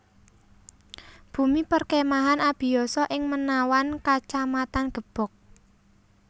Bumi Perkemahan Abiyoso ing Menawan Kacamatan Gebog